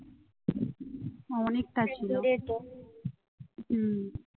হম